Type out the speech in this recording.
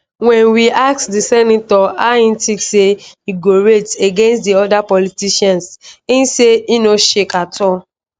wen we ask di senator how e tink say e go rate against di oda politicians im say e no shake at all